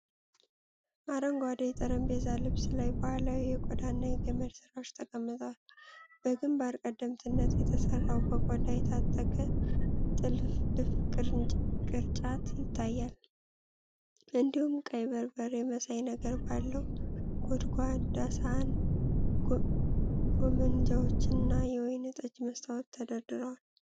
አረንጓዴ የጠረጴዛ ልብስ ላይ ባህላዊ የቆዳና የገመድ ስራዎች ተቀምጠዋል። በግምባር ቀደምትነት የተሠራና በቆዳ የታጠቀ ጥልፍልፍ ቅርጫት ይታያል። እንዲሁም ቀይ በርበሬ መሳይ ነገር ባለው ጎድጓዳ ሳህን፣ ጎመንጃዎች እና የወይን ጠጅ መስታወት ተደርድረዋል።